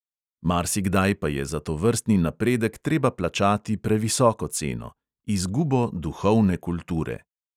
Marsikdaj pa je za tovrstni napredek treba plačati previsoko ceno – izgubo duhovne kulture.